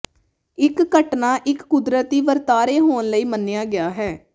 ਇੱਕ ਘਟਨਾ ਇੱਕ ਕੁਦਰਤੀ ਵਰਤਾਰੇ ਹੋਣ ਲਈ ਮੰਨਿਆ ਗਿਆ ਹੈ